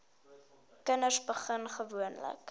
kinders begin gewoonlik